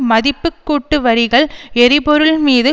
மதிப்பு கூட்டு வரிகள் எரிபொருள் மீது